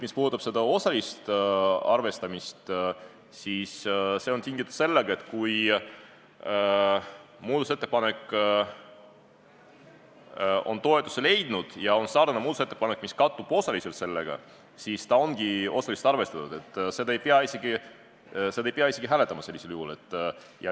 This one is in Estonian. Mis puudutab osalist arvestamist, siis see on tingitud sellest, et kui üks muudatusettepanek on toetuse leidnud ja kui on teine, sarnane muudatusettepanek, mis sellega osaliselt kattub, siis seda teist ongi osaliselt arvestatud ja seda ei pea sellisel juhul isegi enam hääletama.